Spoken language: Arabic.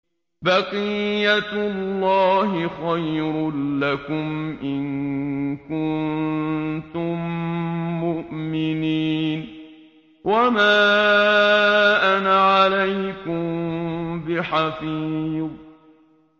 بَقِيَّتُ اللَّهِ خَيْرٌ لَّكُمْ إِن كُنتُم مُّؤْمِنِينَ ۚ وَمَا أَنَا عَلَيْكُم بِحَفِيظٍ